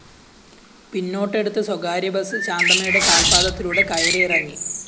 പിന്നോട്ടെടുത്ത സ്വകാര്യബസ് ശാന്തമ്മയുടെ കാല്‍പ്പാദത്തിലൂടെ കയറിയിറങ്ങി